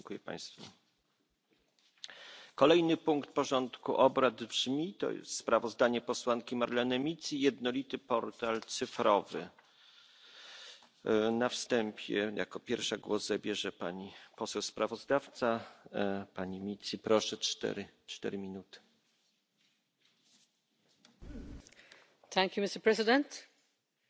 data. And what is very important is that, whatever information people need, they will be able to obtain it in more than a single language. This effectively means no more wasting precious time and money no more red tape and complex procedures no more papers and hours of waiting in long queues in public places. Therefore, I urge all of you to support this regulation a new important step towards